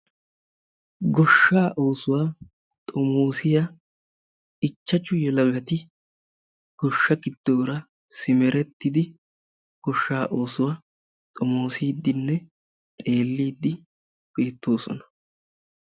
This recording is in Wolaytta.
Goshshaa oosuwa xomoosiya ichchachchu yelagati goshsha gidoora simmerettidi goshsha oosuwa xomoossidenne xeelide neettoosona.